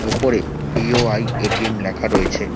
ওপরে B O I A T M লেখা রয়েছে।